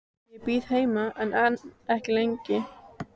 Ég bíð heima en ekki lengi.